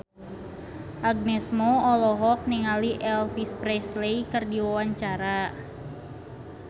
Agnes Mo olohok ningali Elvis Presley keur diwawancara